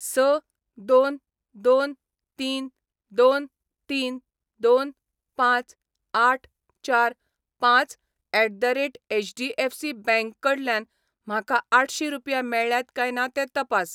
स दोन दोन तीन दोन तीन दोन पांच आठ चार पांच at the rate HDFC bank कडल्यान म्हाका आठशी रुपया मेळ्ळ्यात काय ना तें तपास.